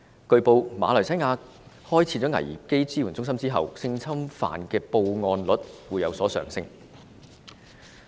據報，馬來西亞開設危機支援中心後，性侵犯的報案率有所上升。